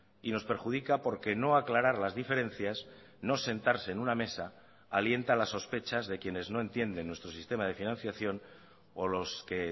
y nos perjudica porque no aclarar las diferencias no sentarse en una mesa alienta las sospechas de quienes no entienden nuestro sistema de financiación o los que